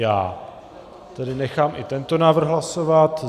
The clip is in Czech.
Já tedy nechám i tento návrh hlasovat.